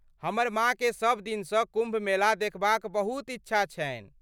हमर माँके सबदिनसँ कुम्भमेला देखबाक बहुत इच्छा छन्हि।